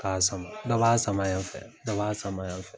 Ka sama . Dɔ ba sama yan fɛ , dɔ ba sama yan fɛ.